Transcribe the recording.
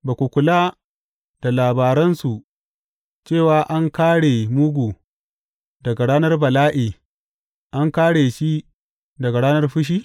Ba ku kula da labaransu, cewa an kāre mugu daga ranar bala’i, an kāre shi daga ranar fushi?